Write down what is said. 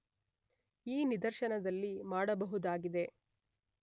ಈ ನಿದರ್ಶನದಲ್ಲಿ ಮಾಡಬಹುದಾಗಿದೆ